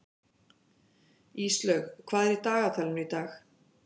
Íslaug, hvað er í dagatalinu í dag?